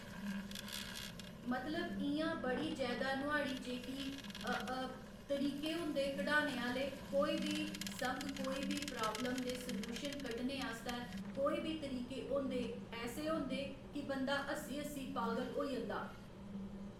मतलब इ'यां बड़ी जैदा नुआढ़ी जेह्की अ अ तरीके होंदे कढाने आह्‌ले कोई बी संग कोई बी प्राब्लम दे सलूशन कड्डने आस्तै कोई बी तरीके होंदे ऐसे होंदे कि बंदा हस्सी हस्सी पागल होई अंदा